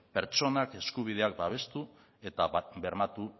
pertsonak eskubideak babestu eta bermatu